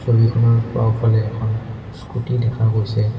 ছবিখনৰ বাওঁফালে এখন স্কুটী দেখা গৈছে।